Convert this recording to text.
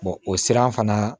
o siran fana